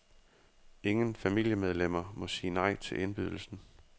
Ingen familiemedlemmer må sige nej til indbydelsen.